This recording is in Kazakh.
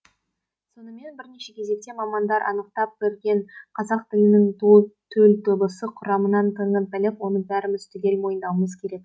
сонымен бірінші кезекте мамандар анықтап берген қазақ тілінің төл дыбыс құрамын танып біліп оны бәріміз түгел мойындауымыз керек